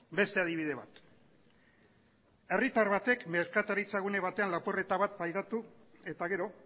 beste adibide bat herritar batek merkataritza gune batean lapurreta bat pairatu eta gero